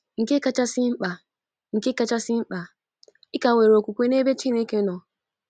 Nke kachasị mkpa Nke kachasị mkpa, ị ka nwere okwukwe n’ebe Chineke nọ.